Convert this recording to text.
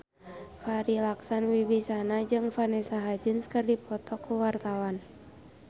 Farri Icksan Wibisana jeung Vanessa Hudgens keur dipoto ku wartawan